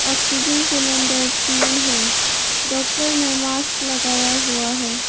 Oxygen cylinder तीन हैं doctor ने मास्क लगाया हुआ है।